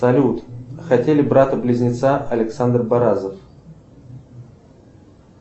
салют хотели брата близнеца александр баразов